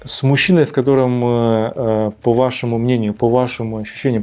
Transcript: с мужчиной в котором э по вашему мнению по-вашему ощущениям